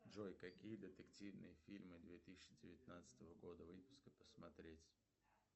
джой какие детективные фильмы две тысячи девятнадцатого года выпуска посмотреть